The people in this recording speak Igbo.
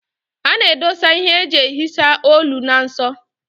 A na-edosa ihe eji ehicha olu na nso.